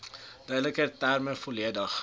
duideliker terme volledig